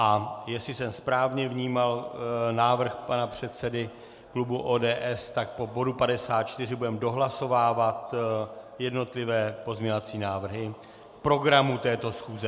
A jestli jsem správně vnímal návrh pana předsedy klubu ODS, tak po bodu 54 budeme dohlasovávat jednotlivé pozměňovací návrhy programu této schůze.